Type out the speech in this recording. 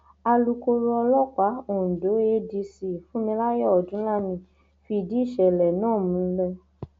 alūkkóró ọlọpàá ondo adc fúnmilayọ ọdúnlami fìdí ìṣẹlẹ náà múlẹ